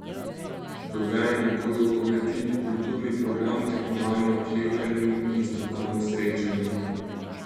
Dogajanje bodo obogatili kulturni program, tekmovanja v klekljanju in strokovno srečanje.